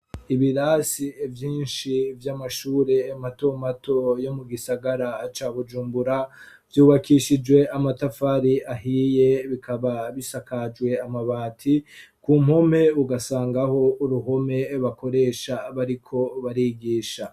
Ibirasi vyinshi vy'amashuri mato mato yo mu gisagara ca Bujumbura vyubakishijwe amatafari ahiye bikaba bisakajwe amabati , ku mpome ugasangaho uruhome bakoresha bariko barigisha.